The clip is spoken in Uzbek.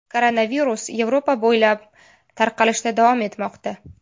Koronavirus Yevropa bo‘ylab tarqalishda davom etmoqda .